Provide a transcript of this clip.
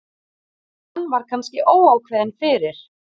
Hann var kannski óákveðinn fyrir.